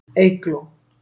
Eygló